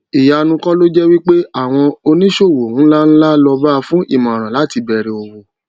ìyanu kò loje wípé àwọn òní sowo nla nla loba fún imoran láti bere owo